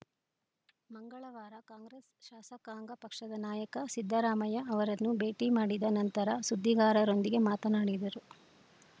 ಮಂಗಳವಾರ ಕಾಂಗ್ರೆಸ್‌ ಶಾಸಕಾಂಗ ಪಕ್ಷದ ನಾಯಕ ಸಿದ್ದರಾಮಯ್ಯ ಅವರನ್ನು ಭೇಟಿ ಮಾಡಿದ ನಂತರ ಸುದ್ದಿಗಾರರೊಂದಿಗೆ ಮಾತನಾಡಿದರು